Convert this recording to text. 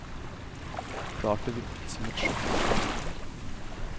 Klart det virket som et sjokk på familien.